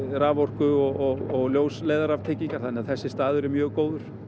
raforku og ljósleiðaratengingar þannig að þessi staður er mjög góður